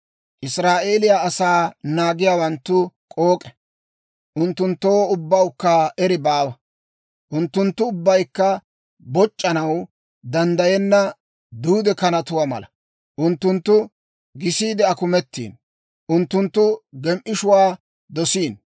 Israa'eeliyaa asaa naagiyaawanttu k'ook'e; unttunttoo ubbawukka eri baawa. Unttunttu ubbaykka boc'c'anaw danddayenna duude kanatuwaa mala. Unttunttu gisiide akumettiino; unttunttu gem"ishuwaa dosiino.